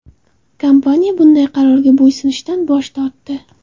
Kompaniya bunday qarorga bo‘ysunishdan bosh tortdi.